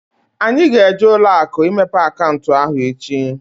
Anyị ga-eje ụlọakụ imepe akaụntụ ahụ echi